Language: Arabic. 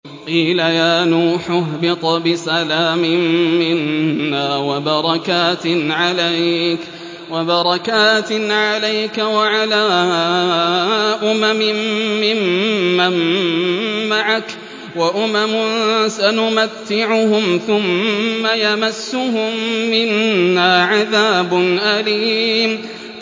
قِيلَ يَا نُوحُ اهْبِطْ بِسَلَامٍ مِّنَّا وَبَرَكَاتٍ عَلَيْكَ وَعَلَىٰ أُمَمٍ مِّمَّن مَّعَكَ ۚ وَأُمَمٌ سَنُمَتِّعُهُمْ ثُمَّ يَمَسُّهُم مِّنَّا عَذَابٌ أَلِيمٌ